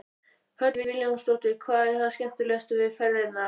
Hödd Vilhjálmsdóttir: Hvað er það skemmtilegasta við ferðirnar?